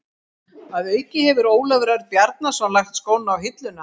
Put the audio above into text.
Að auki hefur Ólafur Örn Bjarnason lagt skóna á hilluna.